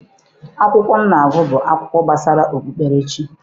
Akwụkwọ m na-agụ bụ akụkọ gbasara okpukperechi.